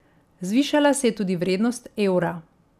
Zvišala se je tudi vrednost evra.